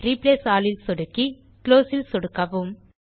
replace all ல் சொடுக்கி close ல் சொடுக்கவும்